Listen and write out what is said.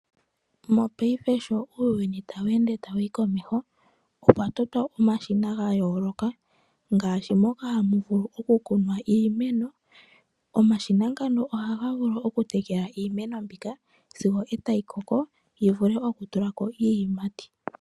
Mongashingeyi sho uuyuni tawu ende tawu yi komeho opwa totwa omashina ga yooloka ngaashi moka hamu vulu okukunwa iimeno. Omashina ngano ohaga vulu okutekela iimeno mbika sigo etayi koko yivule okutula ko iiyimati.